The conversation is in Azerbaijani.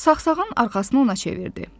Saxsağan arxasına ona çevirdi.